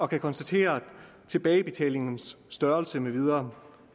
kan konstatere tilbagebetalingens størrelse med videre